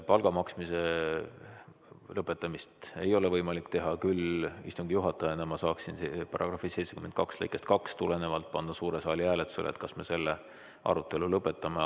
Palga maksmise lõpetamist ei ole võimalik teha, küll saaksin ma istungi juhatajana § 72 lõikest 2 tulenevalt panna suure saali hääletusele, kas me selle arutelu lõpetame.